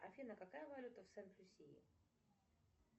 афина какая валюта в сент люсии